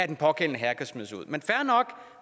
den pågældende herre kan smides ud men fair nok